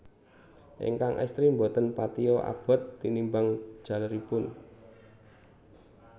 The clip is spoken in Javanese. Ingkang estri boten patia abot tinimbang jaleripun